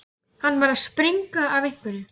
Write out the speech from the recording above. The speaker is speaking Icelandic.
Hann var að springa af einhverju.